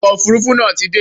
Ọkọ̀ Òfurufú náà ti dé.